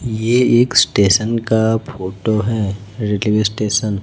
ये एक स्टेशन का फोटो है रेलवे स्टेशन --